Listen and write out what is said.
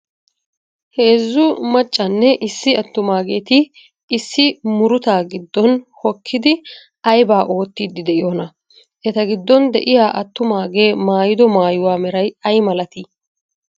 Heezzu maccanne issi attumageeti issi murutaa giddon hokkidi aybaa ootiydi de'iyonaa? Eta giddon de'iya attumagee maayido maayuwa meray ay malati?